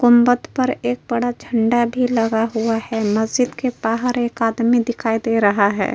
कुंबत पर एक बड़ा झंडा भी लगा हुआ है। मस्जिद के बाहर एक आदमी दिखाई दे रहा है।